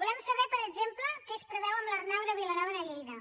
volem saber per exemple què es preveu amb l’arnau de vilanova de lleida